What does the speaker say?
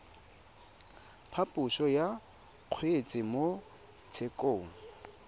phaposo ya kgetse mo tshekong